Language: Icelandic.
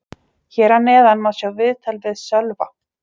Hér að neðan má sjá viðtal við Sölva.